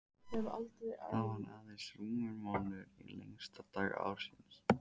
Það var aðeins rúmur mánuður í lengsta dag ársins.